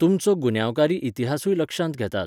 तुमचो गुन्यांवकारी इतिहासूय लक्षांत घेतात.